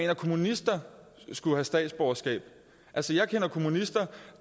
at kommunister skulle have statsborgerskab altså jeg kender kommunister